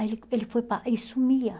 Aí ele ele foi para e sumia.